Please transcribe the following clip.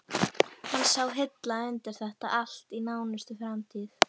Hann sá hilla undir þetta allt í nánustu framtíð.